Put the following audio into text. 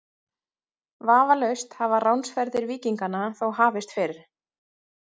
Vafalaust hafa ránsferðir víkinganna þó hafist fyrr.